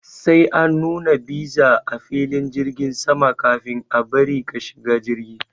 Sai an nuna bisa a filin jirgin sama kafin a bari ka shiga jirgi.